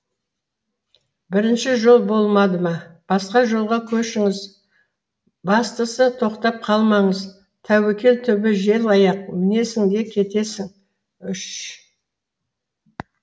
бірінші жол болмады ма басқа жолға көшіңіз бастысы тоқтап қалмаңыз тәуекел түбі жел аяқ мінесің де кетесің